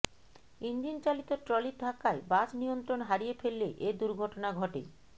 ইঞ্জিনচালিত ট্রলির ধাক্কায় বাস নিয়ন্ত্রণ হারিয়ে ফেললে এ দুর্ঘটনা ঘটে